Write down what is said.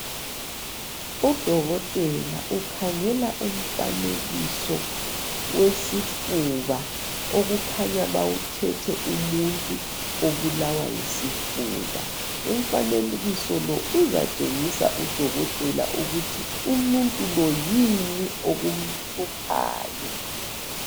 Udokotela ukhangela umfanekiso wesifuba okukhanya bawuthethe umuntu obulawa yisifuba umfanekiso uzatshengisa udokotela ukuthi umuntu lo yini okumhluphayo